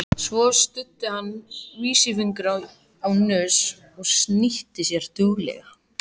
Svo studdi hann vísifingri á nös og snýtti sér duglega.